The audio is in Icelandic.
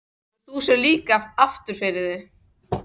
Svo þú sérð líka aftur fyrir þig?